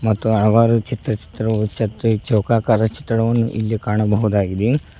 ಮತ್ತು ಹಲವಾರು ಚಿತ್ರಚಿತ್ರ ಉಚ್ಚತ್ತು ಚೌಕಾಕರ ಚಿತ್ರವನ್ನು ಇಲ್ಲಿ ಕಾಣಬಹುದಾಗಿದೆ.